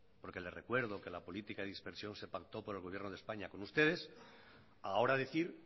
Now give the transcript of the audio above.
porque le recuerdo que la política de dispersión se pactó por el gobierno de españa con ustedes ahora decir